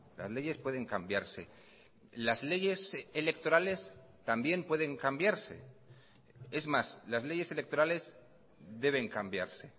las leyes pueden cambiarse las leyes electorales también pueden cambiarse es más las leyes electorales deben cambiarse